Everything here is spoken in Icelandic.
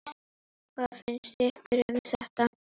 Hvað finnst ykkur um þetta?